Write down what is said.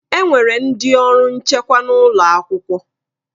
Enwere ndị ọrụ nchekwa n'ụlọ akwụkwọ